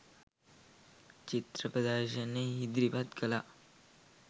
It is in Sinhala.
චිත්‍ර ප්‍රදර්ශන ඉදිරිපත් කළා.